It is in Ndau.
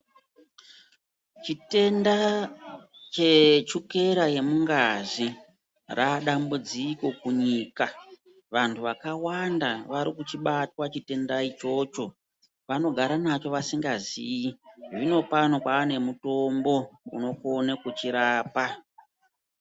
Chitenda chemuchukera yemungazi radambudziko kunyika. Vantu vakawanda varikuchibatwa chitenda ichocho, vanogara nacho vasingaziyi. Zvinopano kwane mutombo unokone kuchirapa.